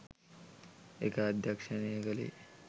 ඒක අධ්‍යක්‍ෂණය කළේ